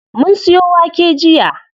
Mun siyo wake jiya.